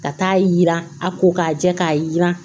Ka taa yira a ko k'a jɛ k'a jiran